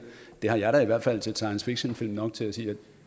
har jeg da i hvert fald set science fiction film nok til at sige